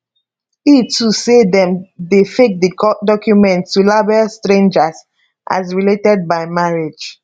e too say dem dey fake di documents to label strangers as related by marriage